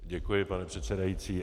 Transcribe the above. Děkuji, pane předsedající.